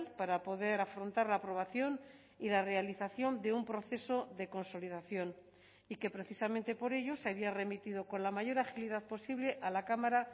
para poder afrontar la aprobación y la realización de un proceso de consolidación y que precisamente por ello se había remitido con la mayor agilidad posible a la cámara